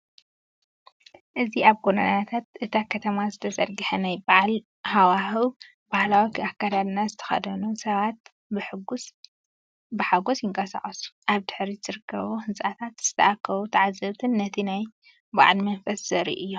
እዚ ኣብ ጎደናታት እታ ከተማ ዝተዘርግሐ ናይ በዓል ሃዋህው፡ ባህላዊ ኣከዳድና ዝተኸድኑ ሰባት ብሓጎስ ይንቀሳቐሱ። ኣብ ድሕሪት ዝርከቡ ህንጻታትን ዝተኣከቡ ተዓዘብትን ነቲ ናይ በዓል መንፈስ ዘርእዩ እዮም።